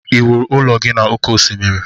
ị wuru ụlọ gị na oke osimiri?